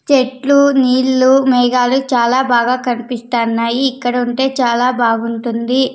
చెట్లు నీళ్లు మేఘాలు చాలా బాగా కనిపిస్తాన్నాయి ఇక్కడ ఉంటే చాలా బాగుంటుంది.